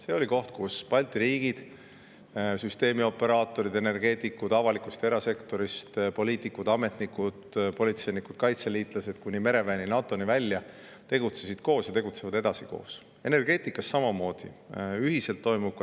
See oli koht, kus Balti riigid – süsteemioperaatorid, energeetikud avalikust ja erasektorist, poliitikud, ametnikud, politseinikud, kaitseliitlased kuni mereväe ja NATO‑ni välja – tegutsesid koos ja nad tegutsevad edasi koos.